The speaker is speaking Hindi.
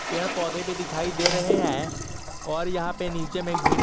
पेड़ पौधे भी दिखाई दे रहे हैं और यहां पे नीचे में--